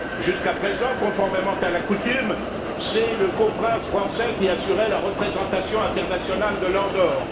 Jusqu'à présent, conformément à la coutume, c'est le coprince français qui assurait la représentation internationale de l'Andorre.